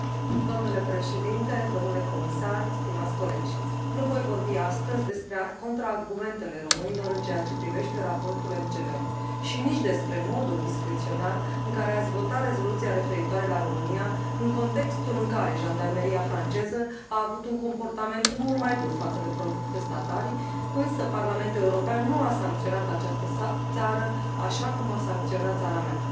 Doamnă președintă, domnule comisar, stimați colegi nu voi vorbi astăzi despre contraargumentele românilor în ceea ce privește raportul MCV și nici despre modul discreționar în care ați votat Rezoluția referitoare la România în contextul în care Jandarmeria franceză a avut un comportament mult mai dur față de protestatari, însă Parlamentul European nu a sancționat această țară, așa cum a sancționat țara mea.